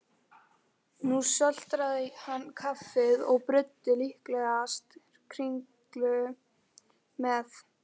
Nú sötraði hann kaffið og bruddi líklegast kringlu með.